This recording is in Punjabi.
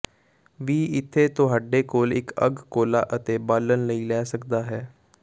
ਵੀ ਇੱਥੇ ਤੁਹਾਡੇ ਕੋਲ ਇੱਕ ਅੱਗ ਕੋਲਾ ਅਤੇ ਬਾਲਣ ਲਈ ਲੈ ਸਕਦਾ ਹੈ